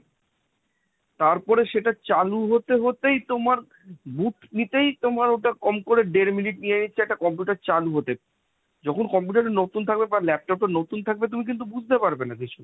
তারপরে সেটা চালু হতে হতেই তোমার load নিতেই ওটা তোমার কম করে দেড় মিনিট নিয়ে নিচ্ছে একটা computer চালু হতে। যখন computer টা নতুন থাকবে বা laptop টা নতুন থাকবে তুমি কিন্তু বুঝতে পারবে না কিছু।